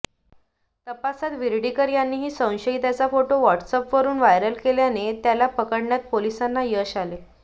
तपासात विर्डीकर यांनीही संशयिताचा फोटो व्हॉट्सअॅपवरून व्हायरल केल्याने त्याला पकडण्यात पोलिसांना यश आले